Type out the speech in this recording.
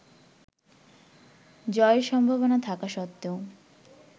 জয়ের সম্ভাবনা থাকা সত্ত্বেও